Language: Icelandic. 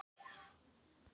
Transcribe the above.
Því skyldi ég þá vera til?